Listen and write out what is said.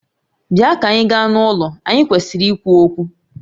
Bịa ka anyị gaa n'ụlọ, anyị kwesịrị ikwu okwu